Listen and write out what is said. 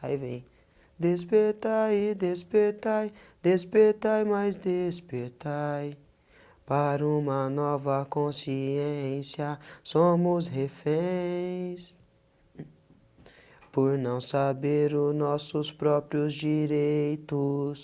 aí vem, despertai, despertai despertai, mais despertai para uma nova consciência somos reféns, por não saber o nossos próprios direitos